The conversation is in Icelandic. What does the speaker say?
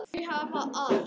Þau hafa allt.